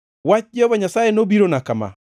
Wach Jehova Nyasaye nobirona kama: